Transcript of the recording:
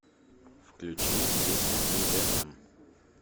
включи песня мдм